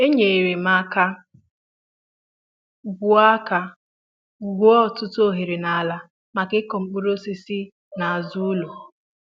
É nyere m aka gwuo aka gwuo ọtụtụ oghere ala maka ịkụ mkpụrụ osisi na azụ ụlọ